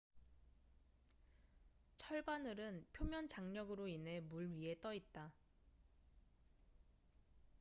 철바늘은 표면 장력으로 인해 물 위에 떠 있다